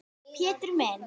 Pétur minn.